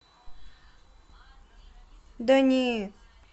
да не